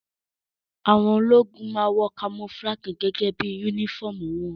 Àwọn ológun máa wọ kamofúlágì gẹ́gẹ́ bí yúnífọ̀mù wọn